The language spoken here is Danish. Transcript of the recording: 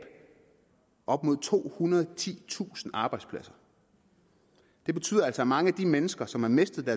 op mod tohundrede og titusind arbejdspladser det betyder altså at mange af de mennesker som har mistet